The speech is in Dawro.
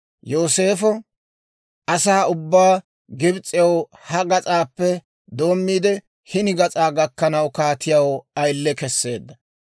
Yooseefo asaa ubbaa Gibs'ew ha gas'aappe doommiide hini gas'aa gakkanaw kaatiyaw ayile kesseedda.